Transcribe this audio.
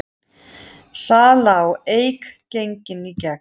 Salan á Eik gengin í gegn